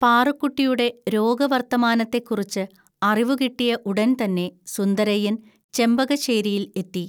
പാറുക്കുട്ടിയുടെ രോഗവർത്തമാനത്തെക്കുറിച്ച് അറിവു കിട്ടിയ ഉടൻതന്നെ സുന്ദരയ്യൻ ചെമ്പകശ്ശേരിയിൽ എത്തി